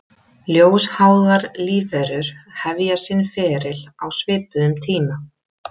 Ljósháðar lífverur hefja sinn feril á svipuðum tíma.